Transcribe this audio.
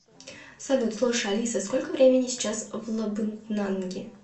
салют слушай алиса сколько времени сейчас в лабытнанги